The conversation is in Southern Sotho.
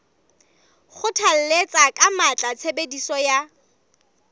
kgothalletsa ka matla tshebediso ya